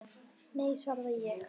Nei, svaraði ég.